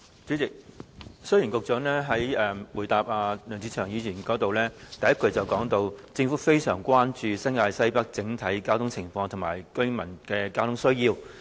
主席，雖然局長在回答梁志祥議員的質詢時，第一句就提到"政府非常關注新界西北整體交通情況及居民的交通需要"。